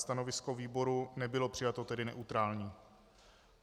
Stanovisko výboru nebylo přijato, tedy neutrální.